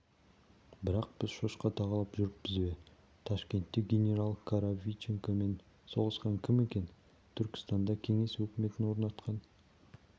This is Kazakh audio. бірақ біз шошқа тағалап жүріппіз бе ташкентте генерал коровиченкомен соғысқан кім екен түркістанда кеңес өкіметін орнатқан